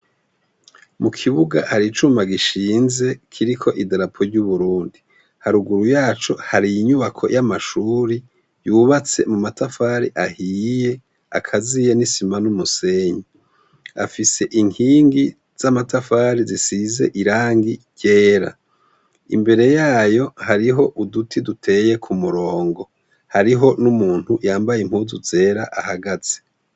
Mu kibuga hari icuma gishinze kiriko idarapo ry'u Burundi, haruguru yaco hari inyubako y'amashure yubatse mu matafari ahiye akaziye n'isima n'umusenyi, afise inkingi z'amatafari zisize irangi ryera, imbere yayo hariho uduti duteye k'umurongo, hariho n'umuntu yambaye impuzu zera ahagaze.